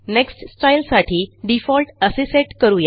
next style साठी Defaultअसे set करू या